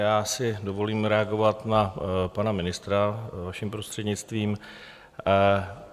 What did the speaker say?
Já si dovolím reagovat na pana ministra, vaším prostřednictvím.